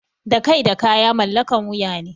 Da kai da kaya mallakan wuya ne.